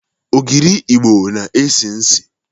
Ogiri Igbo na-esi isi.